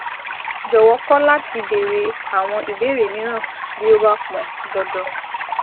Jọ̀wọ́ kọ̀ láti béèrè àwọn ìbéèrè mìíràn bí ó bá pọn dandan